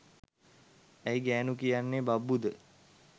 ඇයි ගෑනු කියන්නේ බබ්බු ද?